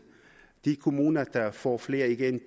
de kommuner der får flere igennem